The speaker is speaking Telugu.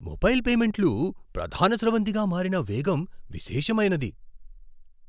మొబైల్ పేమెంట్లు ప్రధాన స్రవంతిగా మారిన వేగం విశేషమైనది.